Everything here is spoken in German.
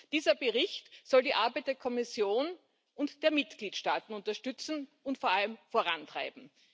Dieser Bericht soll die Arbeit der Kommission und der Mitgliedstaaten unterstützen und vor allem vorantreiben.